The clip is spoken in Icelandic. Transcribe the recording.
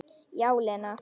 Já, Lena.